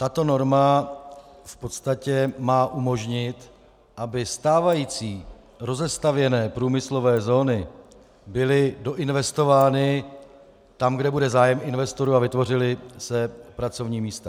Tato norma v podstatě má umožnit, aby stávající rozestavěné průmyslové zóny byly doinvestovány tam, kde bude zájem investorů, a vytvořila se pracovní místa.